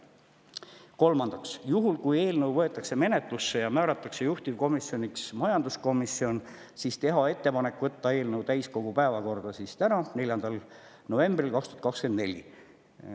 Kolmandaks, juhul kui eelnõu võetakse menetlusse ja määratakse juhtivkomisjoniks majanduskomisjon, siis teha ettepanek võtta eelnõu täiskogu päevakorda täna, 4. novembril 2024.